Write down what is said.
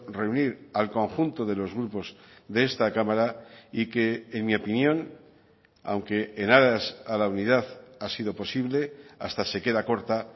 reunir al conjunto de los grupos de esta cámara y que en mi opinión aunque en aras a la unidad ha sido posible hasta se queda corta